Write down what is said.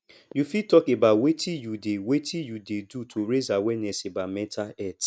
you fit talk about wetin you dey wetin you dey do to raise awareness about mental health